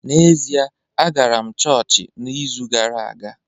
N’ezie, agara m chọọchị n’izu ụka gara aga